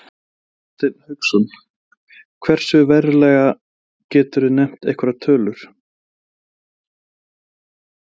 Hafsteinn Hauksson: Hversu verulega, geturðu nefnt einhverjar tölur?